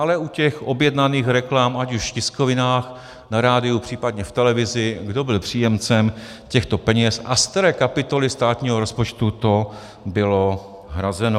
Ale u těch objednaných reklam, ať už v tiskovinách, na rádiu, případně v televizi, kdo byl příjemcem těchto peněz a z které kapitoly státního rozpočtu to bylo hrazeno.